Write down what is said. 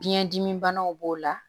Biyɛndimi banaw b'o la